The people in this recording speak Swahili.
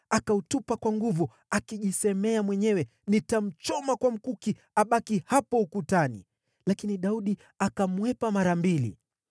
akautupa kwa nguvu, akijiambia mwenyewe, “Nitamchoma kwa mkuki abaki hapo ukutani.” Lakini Daudi akamkwepa mara mbili.